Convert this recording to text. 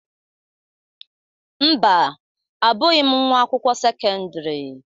Mba, Abụghị m nwa akwụkwọ sekọndrị.